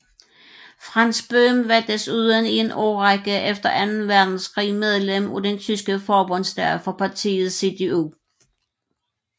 Franz Böhm var desuden i en årrække efter anden verdenskrig medlem af den tyske forbundsdag for partiet CDU